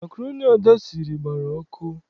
Makroni Ada siri, gbara ọkụ.